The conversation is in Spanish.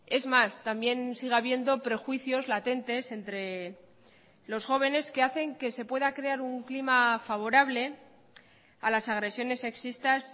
es más también sigue habiendo prejuicios latentes entre los jóvenes que hacen que se pueda crear un clima favorable a las agresiones sexistas